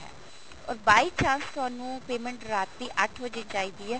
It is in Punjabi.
or by chance ਤੁਹਾਨੂੰ payment ਰਾਤੀ ਅੱਠ ਵਜੇ ਚਾਹੀਦੀ ਹੈ